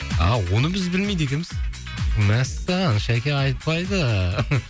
ааа оны біз білмейді екенбіз мәссаған шаке айтпайды